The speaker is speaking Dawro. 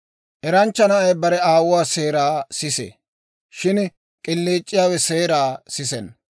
Eranchcha na'ay bare aawuwaa seeraa sisee; shin k'iliic'iyaawe seeraa sisenna.